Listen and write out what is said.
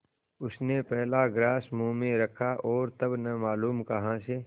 उसने पहला ग्रास मुँह में रखा और तब न मालूम कहाँ से